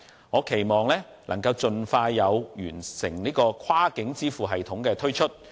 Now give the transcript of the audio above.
我期望能夠盡快推出完成的跨境支付系統。